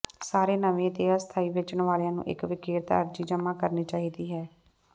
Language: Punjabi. ਸਾਰੇ ਨਵੇਂ ਅਤੇ ਅਸਥਾਈ ਵੇਚਣ ਵਾਲਿਆਂ ਨੂੰ ਇੱਕ ਵਿਕਰੇਤਾ ਅਰਜ਼ੀ ਜਮ੍ਹਾਂ ਕਰਨੀ ਚਾਹੀਦੀ ਹੈ